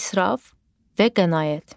İsraf və qənaət.